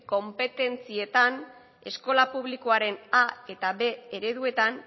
konpetentzietan eskola publikoaren a eta b ereduetan